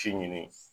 Ci ɲini